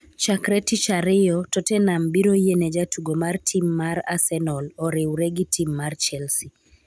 chakre tich tich ariyo, Tottenham biro yiene jatugo mar tim mar Arsenal oriwre gi tim mar Chelsea